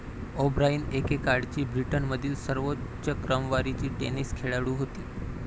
O'Brien एकेकाळची ब्रिटनमधील सर्वोच्च क्रमवारीची टेनिस खेळाडू होती.